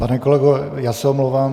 Pane kolego, já se omlouvám.